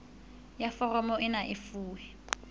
ya foromo ena e fuwe